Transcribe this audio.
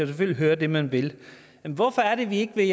selvfølgelig høre det man vil hvorfor er det vi ikke vil